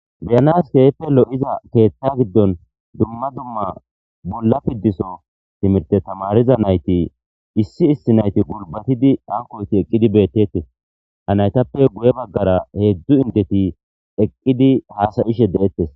Beyanas keehippe lo7iza keethta giddon dumma dumma bulla piddiso timirte tamariza nayti issi issi nayti gulbatidi ankoyti eqqidi beettetee ha naytappe guye baggara heedzdzu indeti eqqidi haasayishe de7'ettes